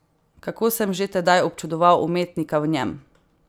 Kako sem že tedaj občudoval umetnika v njem!